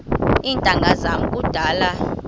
iintanga zam kudala